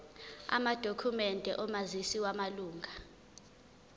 amadokhumende omazisi wamalunga